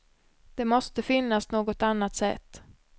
Det måste finnas något annat sätt.